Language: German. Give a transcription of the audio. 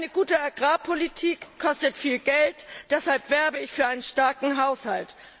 Eine gute Agrarpolitik kostet viel Geld, deshalb werbe ich für einen starken Haushalt.